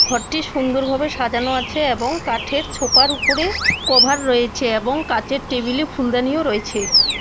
ঘরটি সুন্দরভাবে সাজানো আছে এ্যাবং কাঠের ছোপার উপরে কভার রয়েছে এ্যাবং কাঁচের টেবিলে ফুলদানিও রয়ছে।